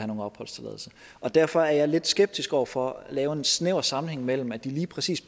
nogen opholdstilladelse og derfor er jeg lidt skeptisk over for at lave en snæver sammenhæng mellem at det lige præcis